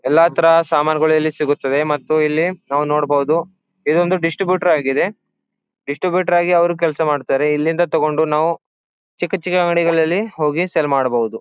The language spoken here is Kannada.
ಎಲ್ಲ ತರದ ಸಾಮಾನುಗಳು ಇಲ್ಲಿ ಸಿಗುತ್ತವೆ ಮತ್ತು ಇಲ್ಲಿ ನಾವು ನೋಡಬಹುದು ಇದು ಒಂದು ಡಿಸ್ಟ್ರಿಬ್ಯೂಟರ್ ಆಗಿದೆ ಡಿಸ್ಟ್ರಿಬ್ಯೂಟರ್ ಆಗಿ ಅವರು ಕೆಲಸ ಮಾಡ್ತಾರೆ ಇಲ್ಲಿಂದ ತಗೊಂಡು ನಾವು ಚಿಕ್ಕ ಚಿಕ್ಕ ಅಂಗದಿಂಗಳ್ಲಲಿ ಹೋಗಿ ನಾವು ಸೇಲ್ ಮಾಡಬಹುದು.